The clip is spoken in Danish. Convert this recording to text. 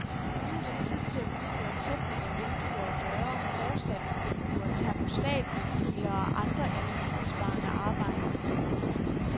Nu er det tid til at udføre tætning af vinduer og døre, forsatsvinduer, termostatventiler og andre energibesparende arbejder.